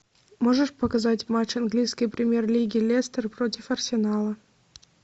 можешь показать матч английской премьер лиги лестер против арсенала